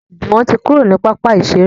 Juwon ti kúrò ní pápá iṣere